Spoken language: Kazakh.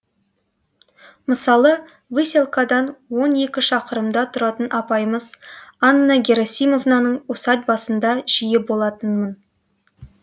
мысалы выселкадан он екі шақырымда тұратын апайымыз анна герасимовнаның усадьбасында жиі болатынмын